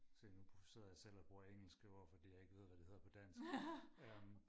se nu sidder jeg selv og bruger engelske ord fordi jeg ikke ved hvad det hedder på dansk øhm